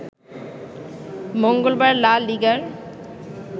মঙ্গলবার লা লিগার